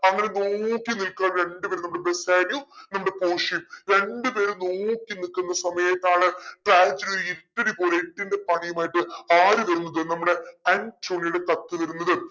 അങ്ങനെ നോക്കി നിക്കുവാന്ന് രണ്ട്പേരും നമ്മടെ ബെസാനിയോ നമ്മടെ പോഷിയയും. രണ്ടു പേരും നോക്കി നിക്കുന്ന സമയത്താണ് പോലെ എട്ടിന്റെ പണിയുമായിട്ട് ആരു വരുന്നത് നമ്മുടെ ആൻറ്റോണിയുടെ കത്ത് വരുന്നത്